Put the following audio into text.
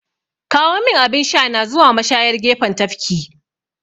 Kawomin abin shana zuwa mashayar gefen tafki!